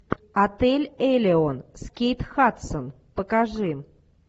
отель элеон с кейт хадсон покажи